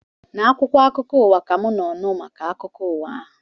Na akwụkwọ akụkọ ụwa ka mụ nọ wee nụ maka akụkọ ụwa ahụ